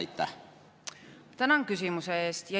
Tänan küsimuse eest.